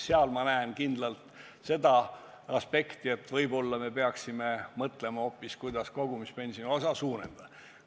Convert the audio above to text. Ma näen selgelt seda aspekti, et võib-olla me peaksime mõtlema hoopis, kuidas kogumispensioni osa suurendada.